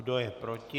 Kdo je proti?